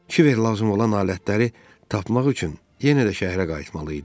Kiberə lazım olan alətləri tapmaq üçün yenə də şəhərə qayıtmalı idi.